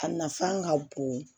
A nafan ka bon